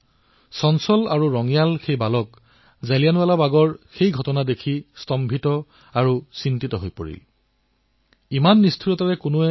লৰাজন চঞ্চল আছিল যদিও তেওঁ জালিয়ানাৱালাবাগত যিটো দেখিলে সিয়েই তেওঁৰ জীৱন পৰিৱৰ্তন কৰিলে